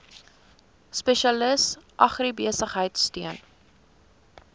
spesialis agribesigheid steun